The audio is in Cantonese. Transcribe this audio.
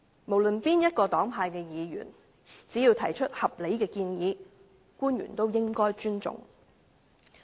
無論是哪一個黨派的議員，只要提出合理的建議，官員也應該尊重。